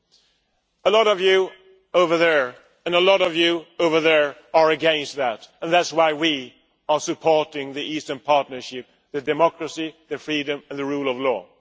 Many of you over there, and many of you over there, are against that and that is why we are supporting the Eastern Partnership, for democracy, freedom and the rule of law.